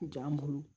Jaa bolo